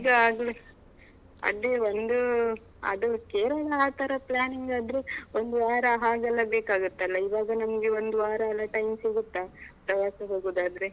ಈಗ ಆಗ್ಲಿ ಅದೇ ಒಂದೂ ಅದು ಕೇರಳ ಆತರ planning ಆದ್ರೆ ಒಂದು ವಾರ ಹಾಗೆಲ್ಲಾ ಬೇಕಾಗತ್ತಲ್ಲ, ಇವಾಗ ನಮ್ಗೆ ಒಂದು ವಾರ ಎಲ್ಲಾ time ಸಿಗತ್ತಾ ಪ್ರವಾಸ ಹೋಗುದಾದ್ರೆ.